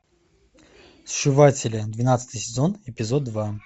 сшиватели двенадцатый сезон эпизод два